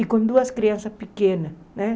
E com duas crianças pequenas, né?